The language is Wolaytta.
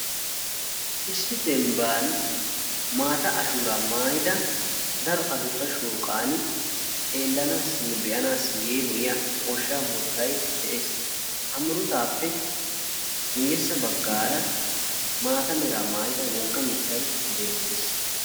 Issi dembbani maata ashuuraa maayida shooqan xeellanaassinne be'anaassi yeemoyiya goshshaa murutay de'ees. Ha murutaappe guyyessa baggaara maata meraa maayida wogga miittay beettees.